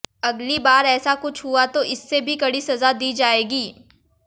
अगली बार ऐसा कुछ हुआ तो इससे भी कड़ी सजा दी जाएगी